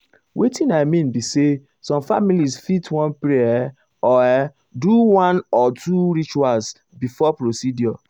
wetin i mean be say some families fit wan pray ah or ah or do one or two rituals before procedure.